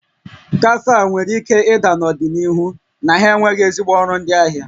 Kafe a nwere ike ịda n'ọdịnihu n'ihi na ha enweghị ezigbo ọrụ ndị ahịa